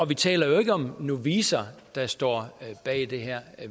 vi taler jo ikke om novicer der står bag det her